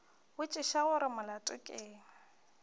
botšiša gore molato ke eng